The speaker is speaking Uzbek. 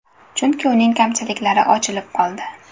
Chunki uning kamchiliklari ochilib qoldi.